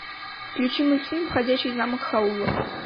включи мультфильм ходячий замок хаула